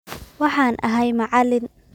waxaan ahay macalin